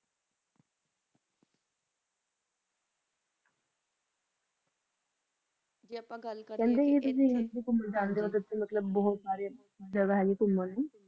ਜੇ ਆਪਾਂ ਗਲ ਕਰੀਏ ਖੇੰਦੀ ਤੁਸੀਂ ਜਿਤੀ ਕੁਮਾਂ ਜਾਂਦੇ ਓਹ ਜਿਤੀ ਮਤਲਬ ਬੋਹਤ ਸਾਰੀ ਜਗਾ ਹੈ ਗੀ ਕੁਮਾਂ ਨੂ